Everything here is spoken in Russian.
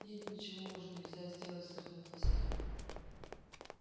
нет ничего уже нельзя сделать вздохнул хозяин